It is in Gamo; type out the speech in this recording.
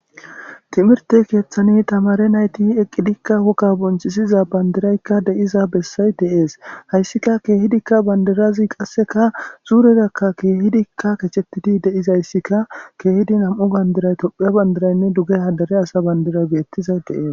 Timirte kethan tamare nayti eqidika wogaka bonchisiza bandirayka de'izo besay de'es haysatika kehidika sureraka kehidika kechetidi de'izaysika kehidi nam'u bandiray tophiya bandirayne dugeha dere asa bandiray betizay de'es